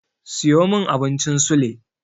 Siyo min abincin sule.